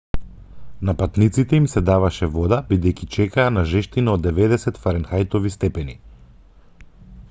на патниците им се даваше вода бидејќи чекаа на жештина од 90 фаренхајтови степени